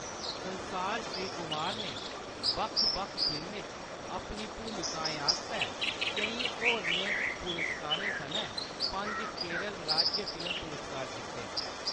संसार श्रीकुमार ने बक्ख-बक्ख फिल्में च अपनी भूमिकाएं आस्तै केईं होरनें पुरस्कारें सनै पंज केरल राज्य फिल्म पुरस्कार जित्ते।